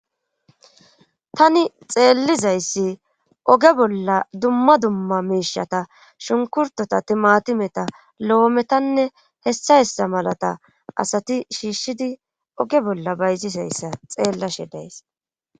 tani xeellizayssi oge bolla dumma dumma miishata shunkkurteta,timaatimeta loometanne hessa hessa malata asati shiishshidi oge bolla bayzizayssa xeellashe days.